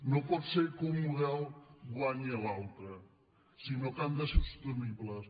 no pot ser que un model guanyi l’altre sinó que han de ser sostenibles